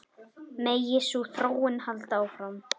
Megi sú þróun halda áfram.